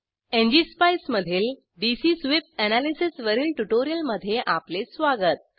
ngspice मधिल DC sweep analysis वरील tutorial मध्ये आपले स्वागत